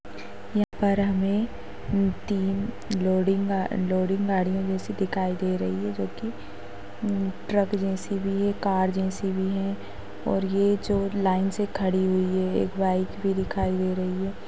यहाँ पर हमे तीन लोडिंग गा-लोडिंग गाड़िया जैसी दिखाई दे रही है जोकि म्ह ट्रक जैसी भी है कार जैसी भी है और ए जो लाइन से खड़ी हुई है एक बाइक भी दिखाई दे रही है।